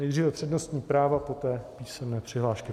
Nejdříve přednostní práva, poté písemné přihlášky.